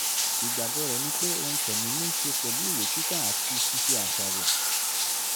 ìgbàgbọ́ rẹ̀ ni pé ohun tẹ̀mí ní ṣe pẹ̀lú ìwé-kíkà àti ṣíṣe àṣàrò